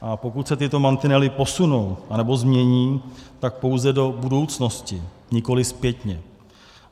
A pokud se tyto mantinely posunou anebo změní, tak pouze do budoucnosti, nikoliv zpětně.